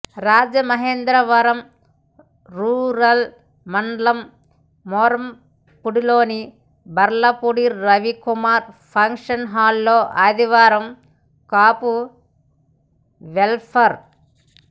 Rajamahendravaram rural మండలం మోరంపూడిలోని Barlapudi Ravikumar function హాలులో ఆదివారం కాపు వెల్ఫేర్